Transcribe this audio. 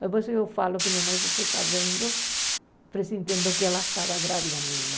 Depois eu falo que minha mãe se foi sabendo, presentindo que ela estava grávida, minha irmã.